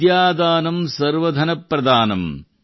ವಿದ್ಯಾದಾನಂ ಸರ್ವಧನಪ್ರಧಾನಂ